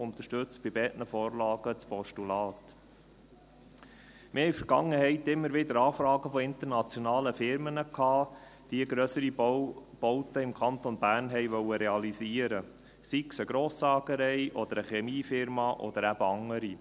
Wir haben in der Vergangenheit immer wieder Anfragen von internationalen Firmen erhalten, die grössere Bauten im Kanton Bern realisieren wollten, sei es eine Grosssägerei, eine Chemiefirma oder eben andere.